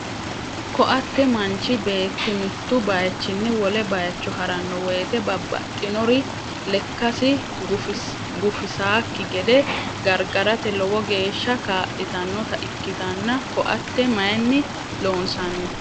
Koatte manchi bet mitu bayichin wole bayicho harano woyite babbaxinnor lekkas gufisakki gede gargarate lowo geeshsa ka'litannota ikkitanna koatte mayin loonsanni?